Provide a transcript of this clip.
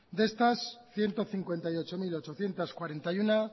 de estas ciento cincuenta y ocho mil ochocientos cuarenta y uno